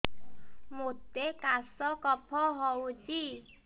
ମୋତେ କାଶ କଫ ହଉଚି